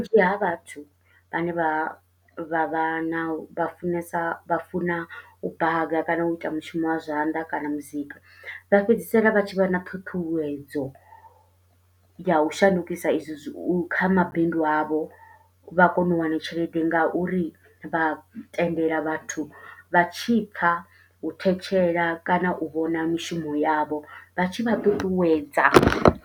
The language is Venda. Vhunzhi ha vhathu vhane vha vha vha na vha funesa vha funa u baka, kana u ita mushumo wa zwanḓa, kana muzika. Vha fhedzisela vha tshi vha na ṱhuṱhuwedzo ya u shandukisa i zwi u kha mabindu a vho, vha kona u wana tshelede nga uri vha tendela vhathu vha tshi pfa u thetshela, kana u vhona mishumo yavho. Vha tshi vha ṱuṱuwedza,